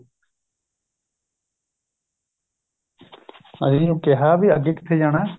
ਅਸੀਂ ਉਹਨੂੰ ਕਿਹਾ ਵੀ ਅੱਗੇ ਕਿੱਥੇ ਜਾਣਾ